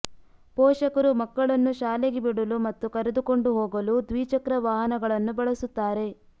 ಪೋಷಕರು ಮಕ್ಕಳನ್ನು ಶಾಲೆಗೆ ಬಿಡಲು ಮತ್ತು ಕರೆದುಕೊಂಡು ಹೋಗಲು ದ್ವಿಚಕ್ರವಾಹನಗಳನ್ನು ಬಳಸುತ್ತಾರೆ